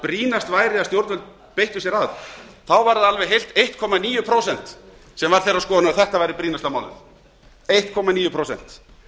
brýnast væri að stjórnvöld beittu sér það þá var það eitt komma níu prósent sem var þeirrar skoðunar að þetta væri brýnasta málið einn komma níu prósent